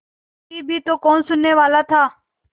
कहती भी तो कौन सुनने वाला था